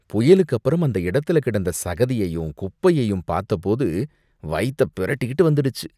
புயலுக்கு அப்பறம் அந்த இடத்துல கிடந்த சகதியையும் குப்பையையும் பாத்தபோது வயித்தை பிரட்டிக்கிட்டு வந்திடுச்சு.